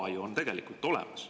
Ala on ju tegelikult olemas.